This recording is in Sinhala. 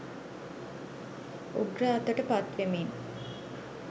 උග්‍ර අතට පත්වෙමින්